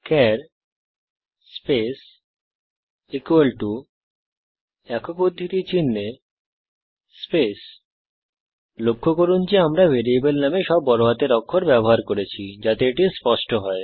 চার স্পেস একক উদ্ধৃতি চিনহে স্পেস লক্ষ্য করুন যে আমরা ভ্যারিয়েবল নামে সব বড়হাতের অক্ষর ব্যবহার করেছি যাতে এটি স্পষ্ট হয়